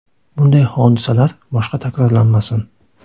Bunday hodisalar boshqa takrorlanmasin.